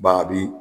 Ba bi